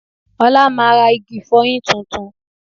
Olá máa ra igi ìfọyín tuntun